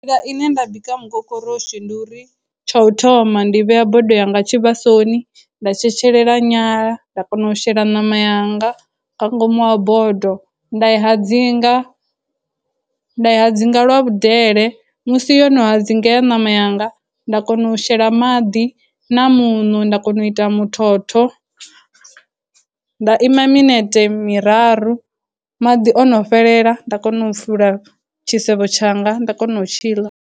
Nḓila ine nda bika mukokoroshi ndi uri, tsha u thoma ndi vhea bodo yanga tshivhasoni, nda tshetshelela nyala, nda kona u shela ṋama yanga nga ngomu ha bodo, nda i hadzinga, nda i hadzinga lwa vhudele, musi yo no hadzingea ṋama yanga, nda kona u shela maḓi na muṋo nda kona u ita muthotho, nda ima minete miraru, madi o no fhelela nda kona u fula tshisevho tshanga, nda kona u tshiḽa.